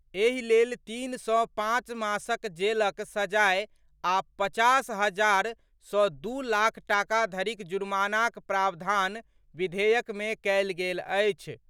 एहि लेल तीन सऽ पांच मासक जेलक सजाए आ पचास हजार सँ दू लाख टाका धरिक जुर्मानाक प्रावधान विधेयक मे कएल गेल अछि।